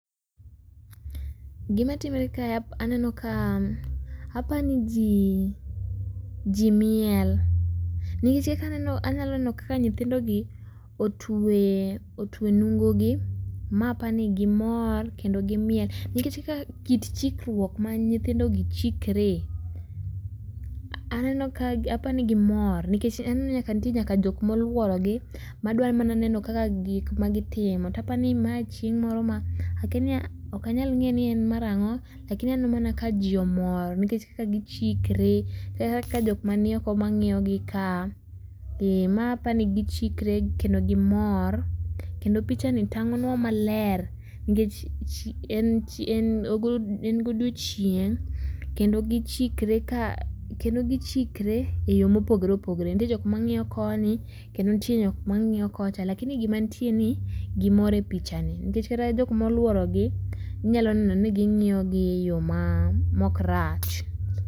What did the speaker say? Gima timore ka aneno ka, apani ji ji miel nikech kaka aneno anyalo neno kaka nyithindogi otuwe, otwe nungogi . Ma apani gimor kendo gimiel nikech kata kit chikruok ma nyithindogi chikree aneno ka apani gimor nikech nitie jok moluorogi madwa mana neno kaka gik magitimo tapani ma chieng' moro akia ok anyal ng'eyo ni en mar ang'o. Lakini aneno mana kaka ji omor nikech kaka gichikre kaka jok manioko mang'iyogi kaa ,ee ma apani gichikre kendo gimor kendo pichani tang'onwa maler nikech en, en godiechieng' kendo gichikre kaa kendo gichikre eyoo mopogore opogore nitie jok mang'iyo koni kendo nitie jok mang'iyo kocha. Lakini gima nitie ni gimor e pichani nikech kata jok moluorogi inyalo neno ni ging'iyogi eyoo maa mok rach.